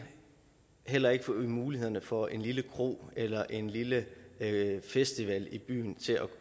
heller ikke til mulighederne for en lille kro eller en lille festival i byen